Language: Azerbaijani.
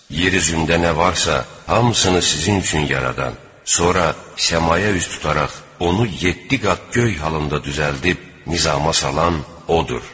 Yer üzündə nə varsa, hamısını sizin üçün yaradan, sonra səmaya üz tutaraq onu yeddi qat göy halında düzəldib nizama salan odur.